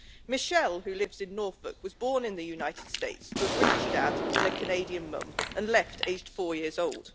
Michelle, who lives in Norfolk, was born in the United States to a British dad and a Canadian mum and left aged four years old.